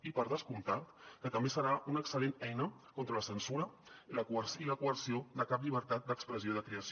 i per descomptat que també serà una excel·lent eina contra la censura i la coerció de cap llibertat d’expressió i de creació